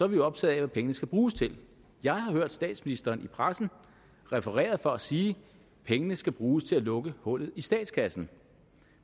vi optaget af hvad pengene skal bruges til jeg har hørt statsministeren i pressen refereret for at sige pengene skal bruges til at lukke hullet i statskassen